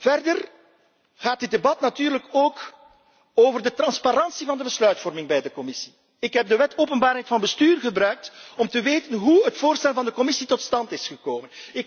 Verder gaat dit debat natuurlijk ook over de transparantie van de besluitvorming bij de Commissie. Ik heb de Wet Openbaarheid van Bestuur gebruikt om te weten te komen hoe het voorstel van de Commissie tot stand is gekomen.